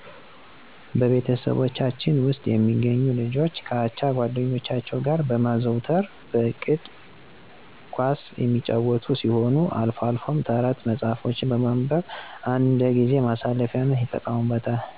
በቤተሰቦቻችን ውስጥ የሚገኙ ልጆች ከአቻ ጓደኞቻቸው ጋር በማዘውተር በእቅድ ኳስ የሚጫወቱ ሲሆን አልፎ አልፎም የተረት መጽሐፎችን ማንበብ እንደጊዜ ማሳለፊያነት ይጠቀሙበታል።